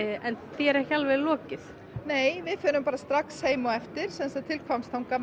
en því er ekki alveg lokið nei við förum strax heim á eftir til Hvammstanga